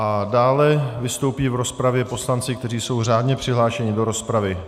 A dále vystoupí v rozpravě poslanci, kteří jsou řádně přihlášeni do rozpravy.